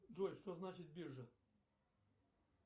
джой что значит биржа